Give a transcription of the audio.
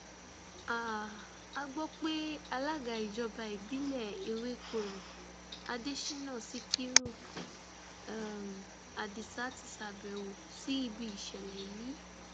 um a gbọ pé alága ìjọba ìbílẹ ewékorò adésínà síkírù um adisa ti ṣàbẹwò sí ibi ìṣẹlẹ yìí